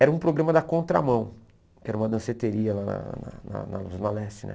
Era um programa da Contramão, que era uma danceteria lá na lá na Zona Leste, né?